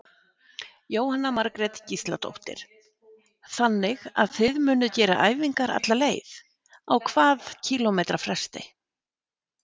Jóhanna Margrét Gísladóttir: Þannig að þið munuð gera æfingar alla leið, á hvað kílómetra fresti?